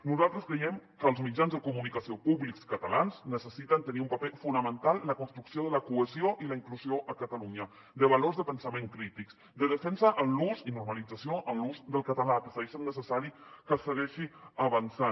nosaltres creiem que els mitjans de comunicació públics catalans necessiten tenir un paper fonamental en la construcció de la cohesió i la inclusió a catalunya de valors de pensament crítics de defensa en l’ús i normalització en l’ús del català que segueix sent necessari que segueixi avançant